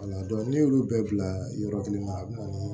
ne y'olu bɛɛ bila yɔrɔ kelen na